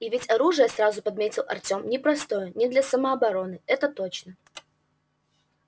и ведь оружие сразу подметил артем непростое не для самообороны это точно